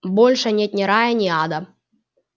больше нет ни рая ни ада